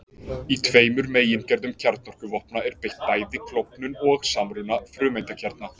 Í tveimur megingerðum kjarnorkuvopna er beitt bæði klofnun og samruna frumeindakjarna.